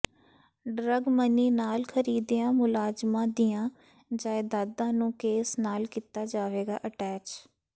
drug money ਨਾਲ ਖਰੀਦੀਆਂ ਮੁਲਜ਼ਮਾਂ ਦੀਆਂ ਜਾਇਦਾਦਾਂ ਨੂੰ ਕੇਸ ਨਾਲ ਕੀਤਾ ਜਾਵੇਗਾ ਅਟੈਚ